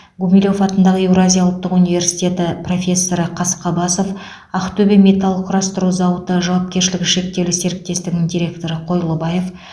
гумилев атындағы еуразия ұлттық университеті профессоры қасқабасов ақтөбе металл құрастыру зауыты жауапкершілігі шектеулі серіктесігінің директоры қойлыбаев